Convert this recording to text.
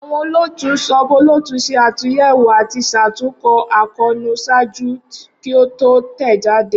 Awọn olootu sub-olootu ṣe atunyẹwo ati ṣatunkọ akoonu ṣaaju ki o to tẹjade